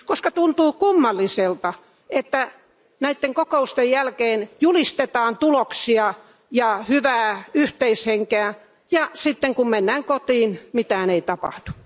Koska tuntuu kummalliselta, että näiden kokousten jälkeen julistetaan tuloksia ja hyvää yhteishenkeä ja sitten, kun mennään kotiin, mitään ei tapahdu.